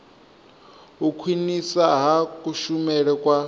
u khwinisa ha kushumele kwa